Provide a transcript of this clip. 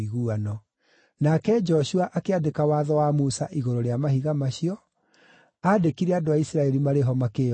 Nake Joshua akĩandĩka watho wa Musa igũrũ rĩa mahiga macio, aandĩkire andũ a Isiraeli marĩ ho makĩĩonagĩra.